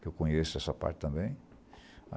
Que eu conheço essa parte também.